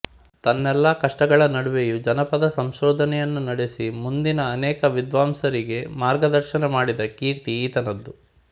ತನ್ನೆಲ್ಲ ಕಷ್ಟಗಳ ನಡುವೆಯೂ ಜಾನಪದ ಸಂಶೋಧನೆಯನ್ನು ನಡೆಸಿ ಮುಂದಿನ ಅನೇಕ ವಿದ್ವಾಂಸರಿಗೆ ಮಾರ್ಗದರ್ಶನ ಮಾಡಿದ ಕೀರ್ತಿ ಈತನದು